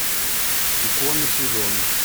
икона сезона